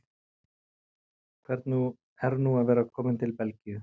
Hvernig er nú að vera kominn til Belgíu?